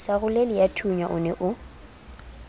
sa roleleyathunya o ne o